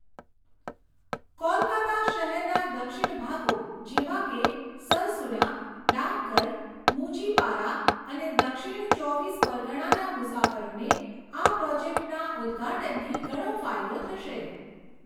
કોલકાતા શહેરના દક્ષિણ ભાગો જેવા કે સરસુના, ડાકઘર, મુચીપારા અને દક્ષિણ ચોવીસ પરગણાના મુસાફરોને આ પ્રોજેક્ટના ઉદ્ઘાટનથી ઘણો ફાયદો થશે.